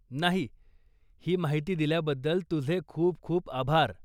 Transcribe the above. नाही, ही माहिती दिल्याबद्दल तुझे खूप खूप आभार.